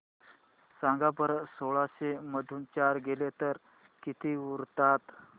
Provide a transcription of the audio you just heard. सांगा बरं सोळाशे मधून चार गेले तर किती उरतात